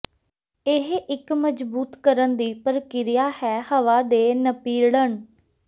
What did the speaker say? ਇਹ ਇੱਕ ਮਜ਼ਬੂਤ ਕਰਨ ਦੀ ਪ੍ਰਕਿਰਿਆ ਹੈ ਹਵਾ ਦੇ ਨਪੀੜਨ